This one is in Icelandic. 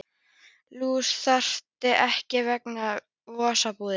Lús þreifst þar ekki vegna vosbúðar.